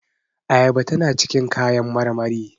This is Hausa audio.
Ayaba tana cikin kayan marmari